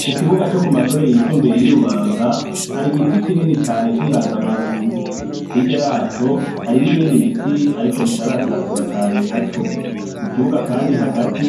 Ku kibuga camashure yisumbuye yi Rubanga hari igiti kinini cane cinganzamarumba, hirya yaco hari nibindi biti ariko bitarasatura cane nkaco mu kibuga kandi hagati